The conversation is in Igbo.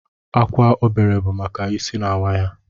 Akwa obere bụ maka isi na-awa ya